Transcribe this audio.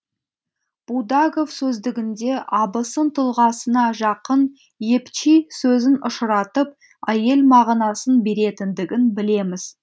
будагов сөздігінде абысын тұлғасына жақын епчи сөзін ұшыратып әйел мағынасын беретіндігін білеміз